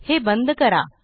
हे बंद करा